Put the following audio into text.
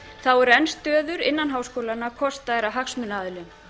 þá eru enn stöður innan háskólanna kostaðar af hagsmunaaðilum